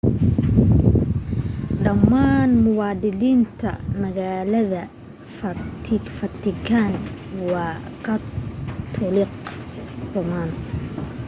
dhammaan muwaadiniinta magaalada vatican waa katoolig roman